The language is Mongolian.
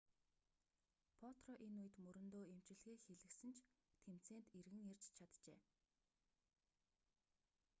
потро энэ үед мөрөндөө эмчилгээ хийлгэсэн ч тэмцээнд эргэн ирж чаджээ